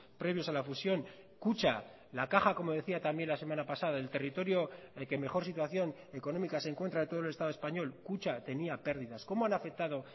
previos a la fusión kutxa la caja como decía también la semana pasada del territorio que mejor situación económica se encuentra de todo el estado español kutxa tenía pérdidas cómo han afectado